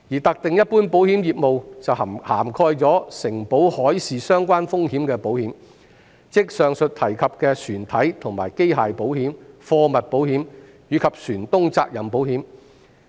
特定一般保險業務涵蓋承保海事相關風險的保險，即以上提及的船體和機械保險、貨物保險，以及船東責任保險。